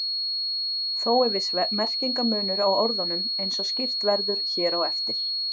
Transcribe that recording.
Þó er viss merkingarmunur á orðunum eins og skýrt verður hér á eftir.